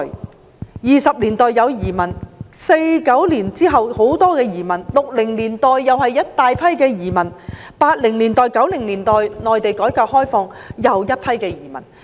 香港在1920年代有移民 ；1949 年後有大批移民 ；1960 年代也有一大群移民 ；1980 年代至1990年代，內地改革開放，又一批移民。